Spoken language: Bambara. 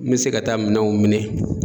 N mi se ka taa minɛnw minɛ